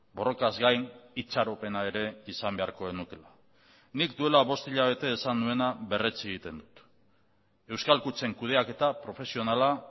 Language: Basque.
borrokaz gain itxaropena ere izan beharko genukeela nik duela bost hilabete esan nuena berretsi egiten dut euskal kutxen kudeaketa profesionala